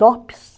Dopes.